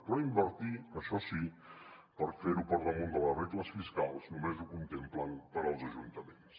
però invertir això sí per fer ho per damunt de les regles fiscals només ho contemplen per als ajuntaments